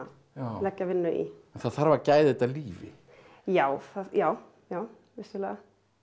leggja vinnu í það þarf að gæða þetta lífi já já já vissulega